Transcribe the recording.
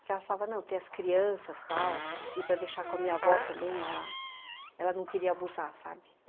Porque ela falava, não, ter as crianças tal, e para deixar com a minha avó também, ela não queria abusar, sabe?